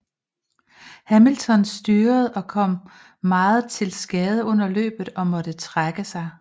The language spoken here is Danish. Hamilton styrtede og kom meget til skade under løbet og måtte trække sig